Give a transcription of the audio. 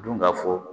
Dun ka fɔ